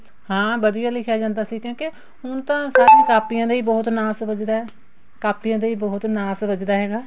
ਹਾਂ ਵਧੀਆ ਲਿਖਿਆ ਜਾਂਦਾ ਸੀ ਕਿਉਂਕਿ ਹੁਣ ਤਾਂ ਕਾਪੀਆਂ ਦਾ ਹੀ ਬਹੁਤ ਨਾਸ ਵੱਜਦਾ ਕਾਪੀਆਂ ਦਾ ਹੀ ਬਹੁਤ ਨਾਸ ਵੱਜਦਾ ਹੈਗਾ